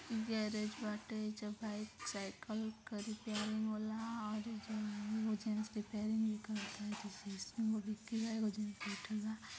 garage बाटे एजा bike cycle के रिपेयरिंग होला और एहिजा एगो जेंट्स रिपेयरिंग भी कर तारे एगो जेंट्स बैठल बा |